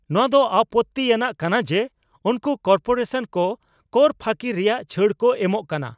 ᱱᱚᱣᱟ ᱫᱚ ᱟᱯᱚᱛᱛᱤ ᱟᱱᱟᱜ ᱠᱟᱱᱟ ᱡᱮ ᱩᱱᱠᱩ ᱠᱚᱨᱯᱳᱨᱮᱥᱚᱱ ᱠᱚ ᱠᱚᱨ ᱯᱷᱟᱹᱠᱤ ᱨᱮᱭᱟᱜ ᱪᱷᱟᱹᱲ ᱠᱚ ᱮᱢᱚᱜ ᱠᱟᱱᱟ ᱾